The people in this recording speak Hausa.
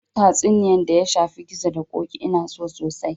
Duk tatsuniya da ya shafi gizo da ƙoƙi Ina so sosai